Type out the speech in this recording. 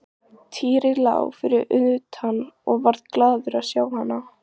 Týri lá fyrir utan og varð glaður að sjá hana.